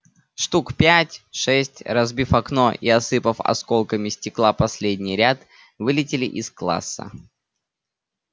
штук пять-шесть разбив окно и осыпав осколками стекла последний ряд вылетели из класса